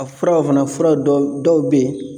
A furaw fana fura dɔ dɔw bɛ yen